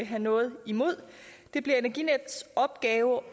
have noget imod det bliver energinetdks opgave